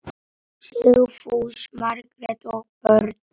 Sigfús, Margrét og börn.